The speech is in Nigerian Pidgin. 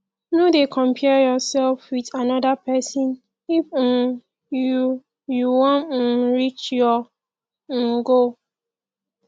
no dey compare yourself with anoda pesin if um you you wan um reach your um goal